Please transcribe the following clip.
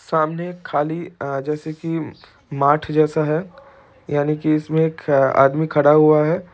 सामने एक खाली अ जैसे की माठ जैसा है यानि की इस में एक आदमी खड़ा हुआ है।